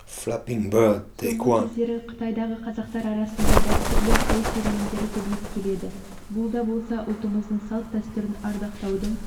соңғы кездері қытайдағы қазақтар арасында дәстүрлі той серуендері көбейіп келеді бұл да болса ұлтымыздың салт-дәстүрін ардақтаудың